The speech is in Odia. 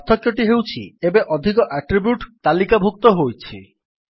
ପାର୍ଥକ୍ୟଟି ହେଉଛି ଏବେ ଅଧିକ ଆଟ୍ରିବ୍ୟୁଟ୍ ତାଲିକାଭୁକ୍ତ ହୋଇଛି